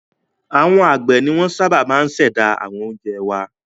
Àwọn àgbẹ̀ ni wọ́n sábà máa ń ṣẹ̀dá àwọn oúnjẹ wá.